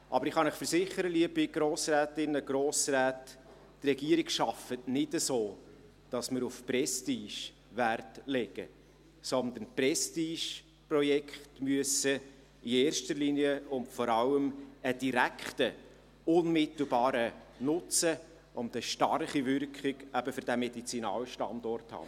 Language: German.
Aber ich kann Ihnen versichern, die Regierung arbeitet nicht so, dass wir auf Prestige Wert legen, sondern Prestigeprojekte müssen in erster Linie und vor allem einen direkten, unmittelbaren Nutzen sowie eine starke Wirkung für diesen Medizinalstandort haben.